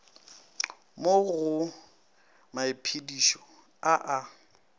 mo go maiphedišo a a